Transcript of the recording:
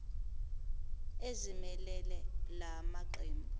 ezimelele la maqembu